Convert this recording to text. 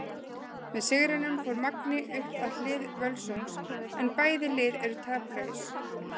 Með sigrinum fór Magni upp að hlið Völsungs en bæði lið eru taplaus.